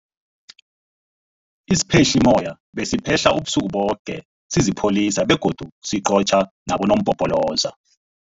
Isiphehlimmoya besiphehla ubusuku boke sisipholisa begodu siqotjha nabonompopoloza.